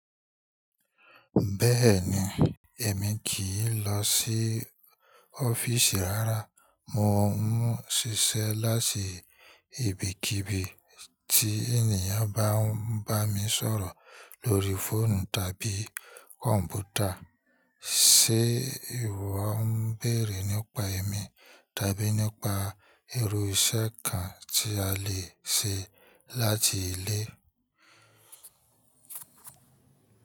Bẹ́ẹ̀ni, èmi kì í lọ sí ọ́fíìsì ara. Mo ń ṣiṣẹ́ láti ibikíbi tí ènìyàn bá ń bá mi sọ̀rọ̀ lórí fóònù tàbí kọ̀ǹpútà. Ṣé ìwọ ń bèèrè nípa èmi tàbí nípa irú iṣẹ́ kan tí a lè ṣe láti ilé?